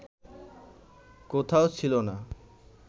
কোথাও ছিল না